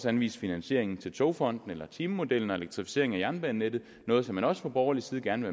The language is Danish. anvise finansieringen til togfonden eller timemodellen og elektrificeringen af jernbanenettet noget som man også fra borgerlig side gerne